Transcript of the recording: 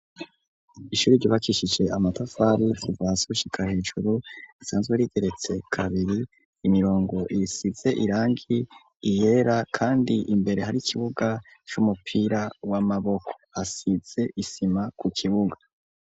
Ishuri ryubakishije amatafari kuva hasi gushika hejuru, risanzwe rigeretse kabiri, imirongo isize irangi, iyera, kandi imbere hari ikibuga c'umupira w'amaboko; hasize isima ku kibuga.